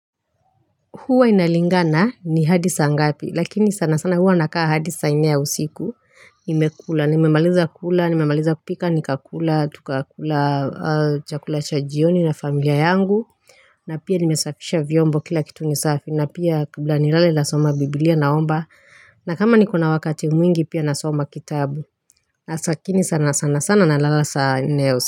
Huwa inalingana ni hadi saa ngapi, lakini sanasana huwa nakaa hadi saa nne ya usiku, nimekula, nimemaliza kukula, nimemaliza kupika, nikakula, tukakula, chakula cha jioni na familia yangu, na pia nimesafisha vyombo kila kitu ni safi, na pia kabla nilale nasoma biblia naomba, na kama nikona wakati mwingi pia nasoma kitabu, na saa ingine sana sana sana nalala saa nne ya usiku.